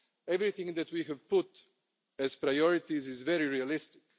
Everything that we have put as priorities is very realistic.